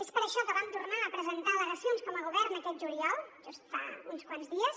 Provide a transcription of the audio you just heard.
és per això que vam tornar a presentar al·lega·cions com a govern aquest juliol just fa uns quants dies